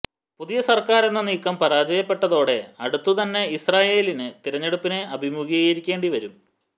പുതിയ സർക്കാരെന്ന നീക്കം പരാജയപ്പെട്ടതോടെ അടുത്തുതന്നെ ഇസ്രയേലിന് തിരഞ്ഞെടുപ്പിനെ അഭിമുഖീകരിക്കേണ്ടി വരും